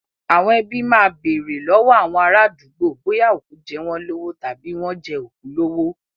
Àwọn ẹbí máa bèrè lọ́wọ́ àwọn ará àdúgbò bóyá òkú jẹ́ wọ́n lówó tàbí wọ́n jẹ òkú lówó.